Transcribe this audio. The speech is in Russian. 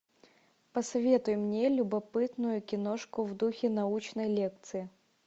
посоветуй мне любопытную киношку в духе научной лекции